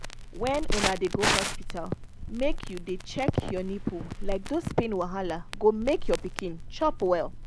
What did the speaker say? when una dey go hospital make you dey check your nipple like those pain wahala go make your pikin chop well